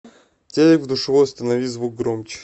телек в душевой установи звук громче